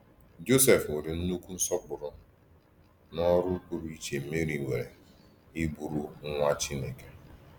Jọsef nwere nnukwu nsọpụrụ n’ọrụ pụrụ iche Meri nwere iburu Nwa Chineke.